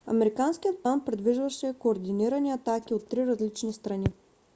американският план предвиждаше координирани атаки от три различни страни